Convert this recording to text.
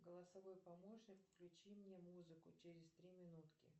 голосовой помощник включи мне музыку через три минутки